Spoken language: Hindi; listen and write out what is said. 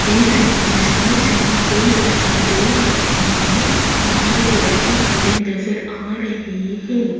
इस इमेज में स्विमिंग पूल दिखाई दे रहा है बाहर एक लड़की खड़ी नजर आ रही है।